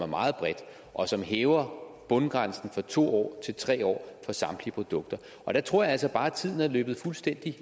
meget bredt og som hæver bundgrænsen fra to år til tre år for samtlige produkter jeg tror altså bare at tiden er løbet fuldstændig